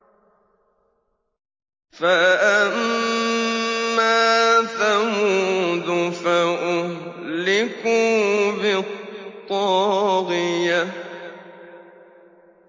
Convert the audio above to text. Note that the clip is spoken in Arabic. فَأَمَّا ثَمُودُ فَأُهْلِكُوا بِالطَّاغِيَةِ